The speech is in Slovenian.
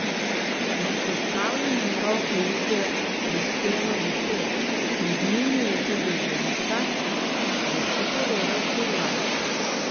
V postavljenem roku jih je prispelo deset, med njimi je tudi ženska, je še povedal Furlan.